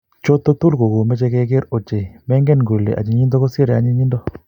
choto tugul ko komechei kegeer ochei maingen kole ayinyindo kosirei anyinyindo